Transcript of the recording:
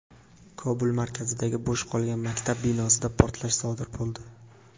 Kobul markazidagi bo‘sh qolgan maktab binosida portlash sodir bo‘ldi.